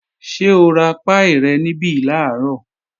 Ṣé o ra páì rẹ̀ níbí làárọ̀?